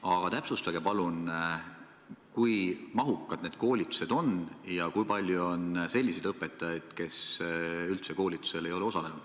Aga täpsustage palun, kui mahukad need koolitused on ja kui palju on selliseid õpetajaid, kes üldse ei ole koolitusel osalenud.